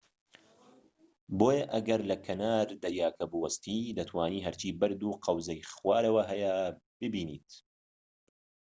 بۆیە ئەگەر لە کەنار دەریاکە بوەستیت، دەتوانیت هەرچی بەرد و قەوزەی خوارەوە هەیە ببینیت‎